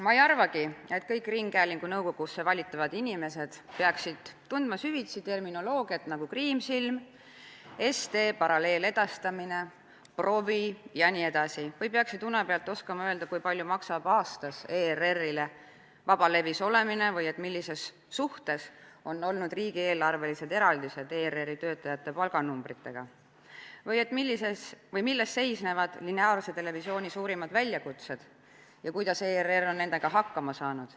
Ma ei arvagi, et kõik ringhäälingu nõukogusse valitavad inimesed peaksid tundma süvitsi selliseid termineid nagu Kriimsilm, SD, paralleeledastamine, provi jne või peaksid une pealt oskama öelda, kui palju maksab aastas ERR-ile vabalevis olemine või millises suhtes on olnud riigieelarvelised eraldised ERR-i töötajate palganumbritega või milles seisnevad lineaarse televisiooni suurimad väljakutsed ja kuidas ERR on nendega hakkama saanud.